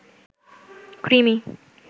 কৃমি